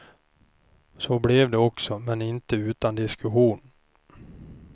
Så blev det också, men inte utan diskussion.